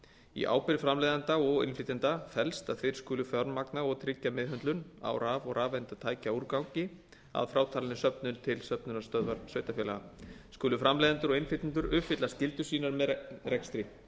í ábyrgð framleiðanda og innflytjanda felst að þeir skulu fjármagna og tryggja meðhöndlun raf og rafeindatækjaúrgangs að frátalinni söfnun til söfnunarstöðvar sveitarfélaga skulu framleiðendur og innflytjendur uppfylla skyldur sínar með rekstri